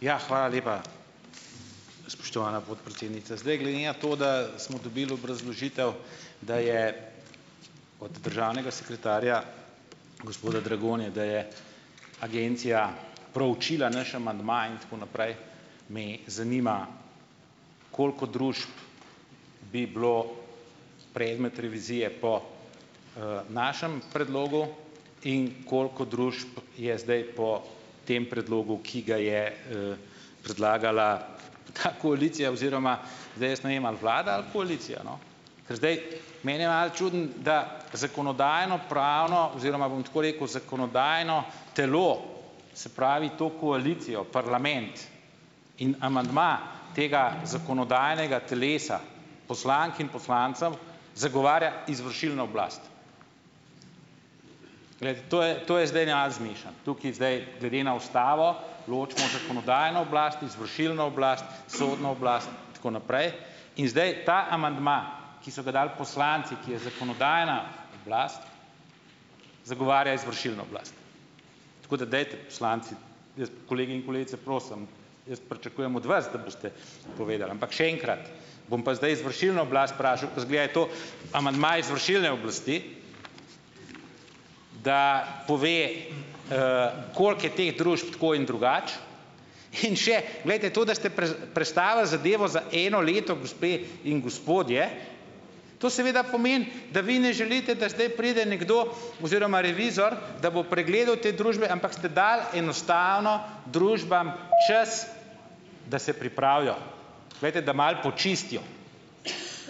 Ja. Hvala lepa, spoštovana podpredsednica. Zdaj, glede na to, da smo dobili obrazložitev, da je od državnega sekretarja, gospoda Dragonje, da je agencija proučila naš amandma in tako naprej, me zanima, koliko družb bi bilo predmet revizije po, našem predlogu in koliko družb je zdaj po tem predlogu, ki ga je, predlagala ta koalicija oziroma, zdaj jaz ne vem, ali vlada ali koalicija, no. Ker zdaj meni je malo čudno, da zakonodajno-pravno, oziroma bom tako rekel, zakonodajno telo, se pravi to koalicijo, parlament, in amandma tega zakonodajnega telesa, poslank in poslancem, zagovarja izvršilno oblast. Glejte, to je to je zdaj neal zmešano, tukaj zdaj glede na ustavo ločimo zakonodajno oblast, izvršilno oblast sodno oblast. In tako naprej. In zdaj ta amandma, ki so ga dali poslanci, ki je zakonodajna oblast, zagovarja izvršilno oblast. Tako da dajte poslanci, jaz. Kolegi in kolegice, prosim, jaz pričakujem od vas, da boste povedal. Ampak še enkrat, bom pa zdaj izvršilno oblast vprašal, ke izgleda, je to amandma izvršilne oblasti, da pove, koliko je teh družb tako in drugače in še, glejte, to, da ste prestavili zadevo za eno leto, gospe in gospodje, to seveda pomeni, da vi ne želite, da zdaj pride nekdo oziroma revizor, da bo pregledal te družbe, ampak ste dali enostavno družbam čas, da se pripravijo, glejte, da malo počistijo,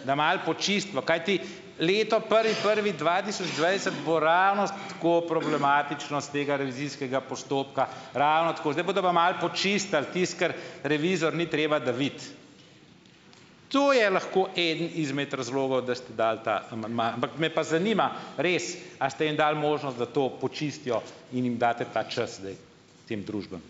da malo počistimo, kajti leto prvi prvi dva tisoč dvajset bo ravno tako problematično s tega revizijskega postopka, ravno tako, zdaj pa da bojo malo počistili tisto, kar revizor ni treba, da vidi. To je lahko eden izmed razlogov, da ste dali ta amandma, ampak me pa zanima res, a ste jim dali možnost, da to počistijo in jim date ta čas zdaj tem družbam?